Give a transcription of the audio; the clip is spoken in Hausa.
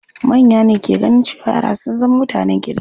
Manya ne ke ganin cewa yara sun zama mutanen kirki.